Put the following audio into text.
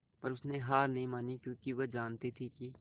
पर उसने हार नहीं मानी क्योंकि वह जानती थी कि